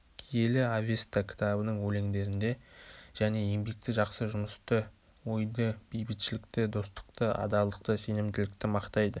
киелі авеста кітабының өлеңдерінде және еңбекті жақсы жұмысты ойды бейбітшілікті достықты адалдықты сенімділікті мақтайды